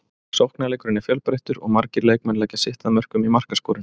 Sóknarleikurinn er fjölbreyttur og margir leikmenn leggja sitt að mörkum í markaskorun.